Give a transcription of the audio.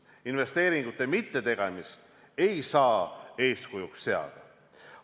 Investeeringute mittetegemist ei saa eeskujuks seada.